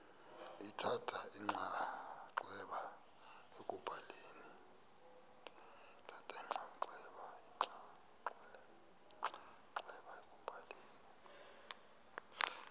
lithatha inxaxheba ekubhaleni